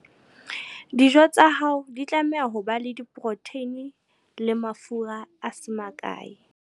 Dijo tsa hao di tlameha ho ba le poroteine le mafura a se makae.